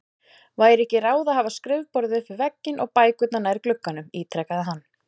Væri ekki ráð að hafa skrifborðið upp við vegginn og bækurnar nær glugganum? ítrekaði hann.